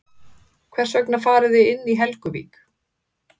Hvers vegna farið þið inn í Helguvík?